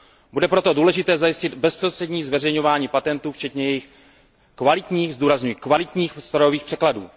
Bude proto důležité zajistit bezprostřední zveřejňování patentů včetně jejich kvalitních, zdůrazňuji kvalitních, strojových překladů.